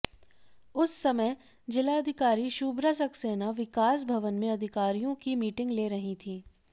उस समय जिलाधिकारी शुभ्रा सक्सेना विकास भवन में अधिकारियों की मीटिंग ले रही थीं